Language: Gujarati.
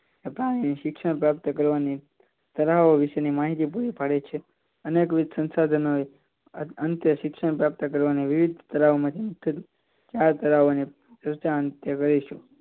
શિક્ષણ પ્રાપ્ત કરવાની તરાઓ વિશે માહિતી પૂરી પાડે છે અને સંશોધન એ અંતે શિક્ષણ પ્રાપ્ત કરવાની વિવિધ તરાઓ માંથી મુખ્ય ચાર તરાઓ લઈશું